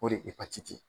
O de ye epatiti ye